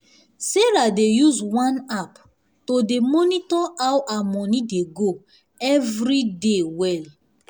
sarahdey use one app to dey monitor how her money dey go everyday dey go everyday well